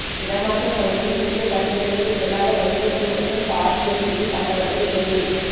இடமாற்றம் வழங்கியும் புதிய பணியிடங்களுக்கு செல்லாத வைத்தியர்கள் மற்றும் தாதியர்களின் சம்பளத்தை இடைநி